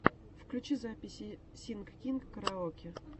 включи записи синг кинг караоке